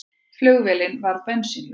Flugvélin varð bensínlaus